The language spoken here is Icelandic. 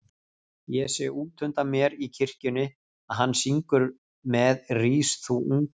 Ég sé útundan mér í kirkjunni að hann syngur með Rís þú unga